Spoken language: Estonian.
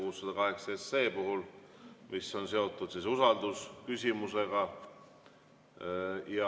See on seotud usaldusküsimusega.